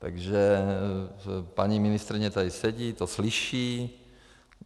Takže paní ministryně tady sedí, to slyší.